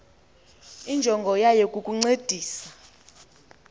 injongo yayo kukukuncedisa